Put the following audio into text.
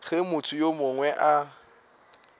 ge motho yo mongwe a